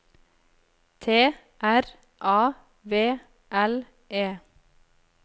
T R A V L E